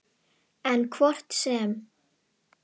En hvort sem